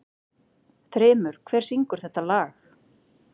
Þrymur, hver syngur þetta lag?